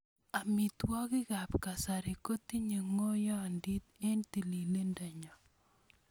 Amitwogiikab kasari kotinyei ng'oiyondiit eng tililindonyo.